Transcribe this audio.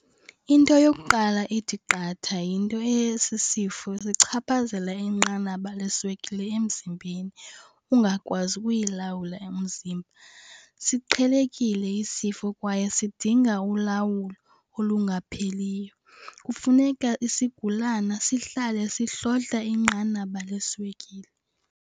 Into yokuqala ethi qatha yinto yesi sifo sichaphazela inqanaba leswekile emzimbeni, ungakwazi ukuyilawula umzimba. Siqhelekile isifo kwaye sidinga ulawulo olungapheliyo. Kufuneka isigulana sihlale sihlohla inqanaba leswekile.